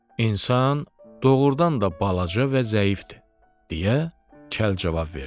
İnsan doğurdan da balaca və zəifdir, deyə kəl cavab verdi.